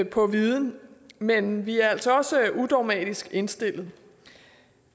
på viden men vi er altså også udogmatisk indstillet